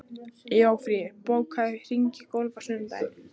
Jófríður, bókaðu hring í golf á sunnudaginn.